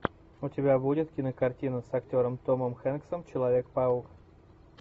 у тебя будет кинокартина с актером томом хэнксом человек паук